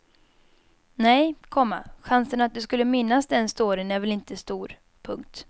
Nej, komma chansen att du skulle minnas den storyn är väl inte stor. punkt